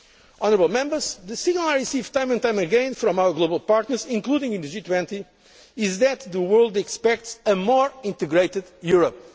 Honourable Members, the signal I receive time and time again from our global partners, including in the G20, is that the world expects a more integrated